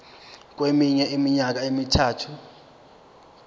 kweminye iminyaka emithathu